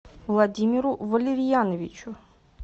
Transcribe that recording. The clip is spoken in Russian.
владимиру валерьяновичу